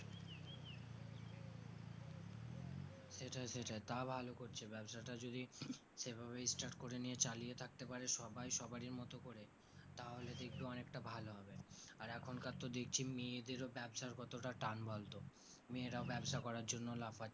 সেটাই সেটাই তা ভালো করছে ব্যবসা টা যদি সেভাবে start করে নিয়ে চালিয়ে থাকতে পারে সবাই সবারির মতো করে তাহলে দেখবি অনেকটা ভালো হবে আর এখন কার তো দেখছি মেয়েদেরও ব্যাবসার কতটা টান বলতো মেয়েরাও ব্যবসা করার জন্য লাফাই